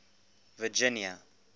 virginia